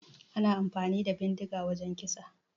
Ana amfani da bindiga wajan kisa